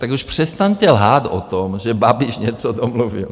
Tak už přestaňte lhát o tom, že Babiš něco domluvil.